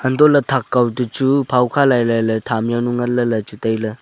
hantohley thak kaw to chu phawkha lailai phamjaw nu nganley chu tailey.